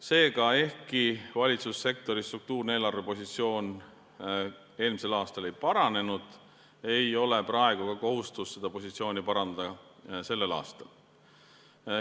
Seega, ehkki valitsussektori struktuurne eelarvepositsioon eelmisel aastal ei paranenud, ei ole praegu ka kohustust seda positsiooni sellel aastal parandada.